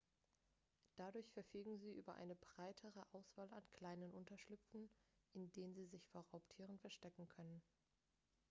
dadurch verfügen sie über eine breitere auswahl an kleinen unterschlüpfen in denen sie sich vor raubtieren verstecken können